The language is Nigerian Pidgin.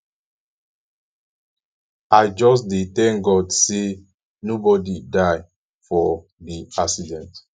i just dey tank god sey nobodi die for di accident